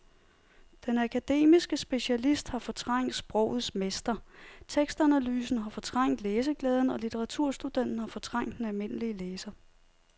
Den akademiske specialist har fortrængt sprogets mester, tekstanalysen har fortrængt læseglæden og litteraturstudenten har fortrængt den almindelige læser.